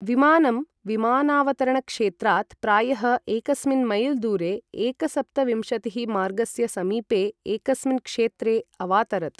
विमानं विमानावतरण क्षेत्रात् प्रायः एकस्मिन् मैल् दूरे एकसप्तविंशतिःमार्गस्य समीपे एकस्मिन् क्षेत्रे अवातरत्।